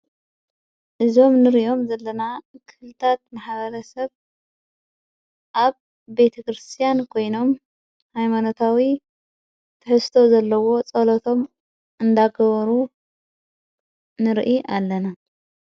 እዞም ንርእዮም ዘለና ክልታት መሓበረሰብ ኣብ ቤተ ክርስቲያን ኮይኖም ሃይሞኖታዊ ተሕስተ ዘለዎ ጸሎቶም እንዳግበሩ ንርኢ ኣለና።